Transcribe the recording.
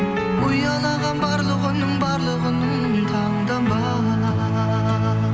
ұялаған барлық үнің барлық үнің таңданба